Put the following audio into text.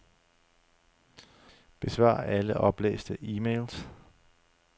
Besvar alle oplæste e-mails.